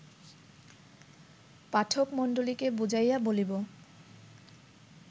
পাঠকমণ্ডলীকে বুঝাইয়া বলিব